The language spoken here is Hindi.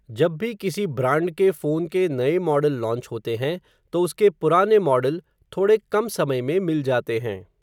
जब भी किसी ब्रांड के फ़ोन के नए मॉडल लॉन्च होते हैं, तो उसके पुराने मॉडल, थोड़े कम समय में, मिल जाते हैं.